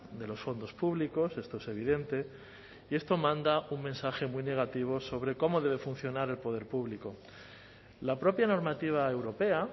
de los fondos públicos esto es evidente y esto manda un mensaje muy negativo sobre cómo debe funcionar el poder público la propia normativa europea